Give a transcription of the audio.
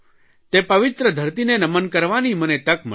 તે પવિત્ર ધરતીને નમન કરવાની મને તક મળી